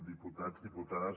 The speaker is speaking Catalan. diputats diputades